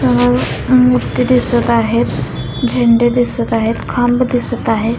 अ मूर्ती दिसत आहेत झेंडे दिसत आहेत खांब दिसत आहे.